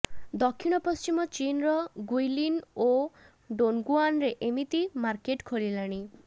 ଦକ୍ଷିଣ ପଶ୍ଚିମ ଚୀନର ଗୁଇଲିନ ଓ ଡୋନଗୁଆନରେ ଏମିତି ମାର୍କେଟ୍ ଖୋଲିଲାଣି